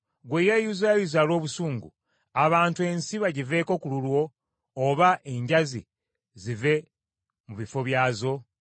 Ggwe eyeyuzayuza olw’obusungu, abantu ensi bagiveeko ku lulwo, oba enjazi zive mu bifo byazo?